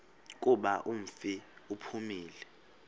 kuba umfi uphumile